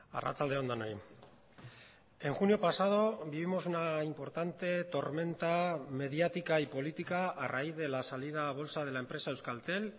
arratsalde on denoi en junio pasado vivimos una importante tormenta mediática y política a raíz de la salida a bolsa de la empresa euskaltel